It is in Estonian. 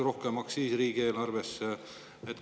Aktsiisi laekus siis riigieelarvesse rohkem.